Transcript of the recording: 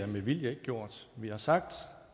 med vilje ikke gjort vi har sagt